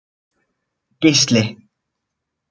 Geisli